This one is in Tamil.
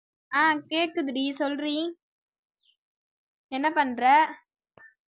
ஆஹ் கேக்குதுடி சொல்றீ என்ன பண்ற